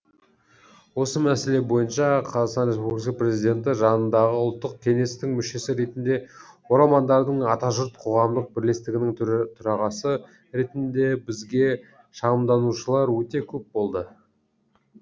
осы мәселе бойынша қр президенті жанындағы ұлттық кеңестің мүшесі ретінде оралмандардың атажұрт қоғамдық бірлестігінің төрағасы ретінде бізге шағымданушылар өте көп болды